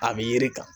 A bɛ yiri kan